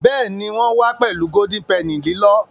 Béèni wón wá pèlú Golden Penny lilọ.